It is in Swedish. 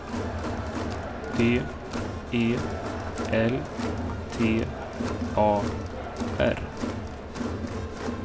D E L T A R